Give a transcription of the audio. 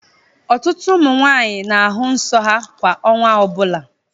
Ọtụtụ ụmụ nwanyị na-ahụ nsọ ha kwa ọnwa ọbụla.